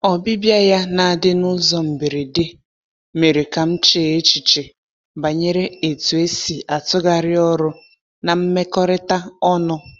Ọbịbịa ya na-adị n’ụzọ mberede mere ka m chee echiche banyere etu esi atụgharị ọrụ na mmekọrịta ọnụ.